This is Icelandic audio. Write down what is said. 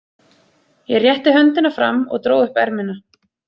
Ég rétti höndina fram og dró upp ermina.